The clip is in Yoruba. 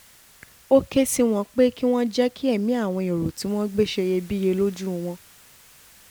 ó ké sí wọn pé kí wọ́n jẹ́ kí ẹ̀mí àwọn èrò tí wọ́n gbé ṣe iyebíye lójú wọn